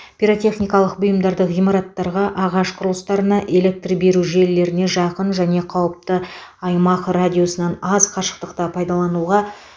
пиротехникалық бұйымдарды ғимараттарға ағаш құрылыстарына электр беру желілеріне жақын және қауіпті аймақ радиусынан аз қашықтықта пайдалануға